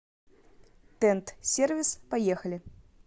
тент сервис поехали